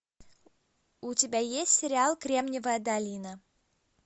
у тебя есть сериал кремниевая долина